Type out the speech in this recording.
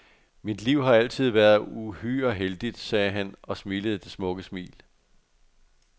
Mit liv har altid været uhyre heldigt, sagde han og smilede det smukke smil.